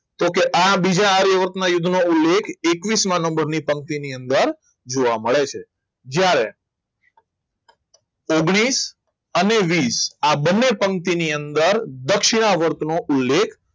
તો કે આ બીજા આર્યવર્તના યુદ્ધમાં ઉલ્લેખ એકવીસમા નંબરની પંક્તિની અંદર જોવા મળે છે જ્યારે ઓગ્નિસ અને વીસ આ બંને પંક્તિની અંદર દક્ષિણા વર્તનો ઉલ્લેખ